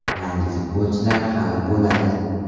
Yangi futbolchilar hali bo‘ladi.